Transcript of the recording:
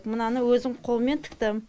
мынаны өзім қолмен тіктім